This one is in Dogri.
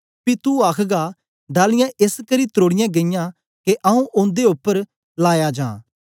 पी तू आखगा डालियाँ एसकरी त्रोड़ीयां गेईयां के आऊँ ओदे उपर लाया जां